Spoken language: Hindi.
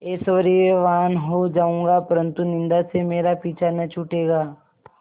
ऐश्वर्यवान् हो जाऊँगा परन्तु निन्दा से मेरा पीछा न छूटेगा